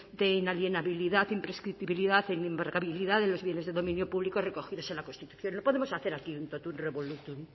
de inalienabilidad imprescriptibilidad e inembargabilidad de los bienes de dominio público recogidos en la constitución no podemos hacer aquí un totum revolutum